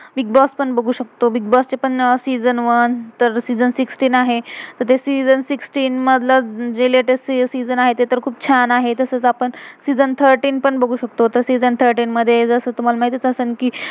Bigg Boss bigboss पण बघू शकतो, बिग्बो bigboss चे पण season season one one, season season sixteen sixteen आहे. तर ते सीजण season सिक्सटीन sixteen मधल, जे लेटेस् latest से~सीजण sixteen तर ते पण खुप छान आहे. तसच आपण सीजण season थर्टीन thirteen पण बघू शकतो. सीजण season थर्टीन thirteen मधे जसं तुम्हाला माहितच आहे कि,